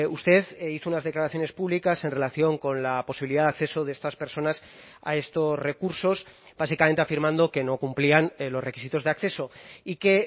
usted hizo unas declaraciones públicas en relación con la posibilidad de acceso de estas personas a estos recursos básicamente afirmando que no cumplían los requisitos de acceso y que